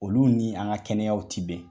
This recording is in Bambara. Olu ni an ka kɛnɛyaw ti bɛn.